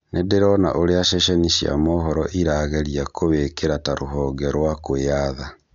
Nĩndĩrona ũrĩa ceceni cia mohoro irageria kũwĩkĩra ta rũhonge rwa kwĩyatha